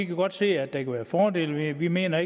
godt se at der kan være fordele ved det vi mener